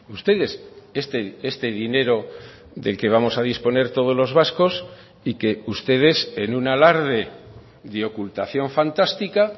ustedes este dinero del que vamos a disponer todos los vascos y que ustedes en un alarde de ocultación fantástica